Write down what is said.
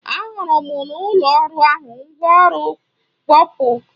Ahụrụ m n'ụlọ ọrụ ahụ mgwa ọrụ mkpọpụ a na-akpọ drịlụ na Bekee.